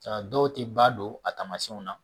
A dɔw tɛ ba don a tamasiyɛnw na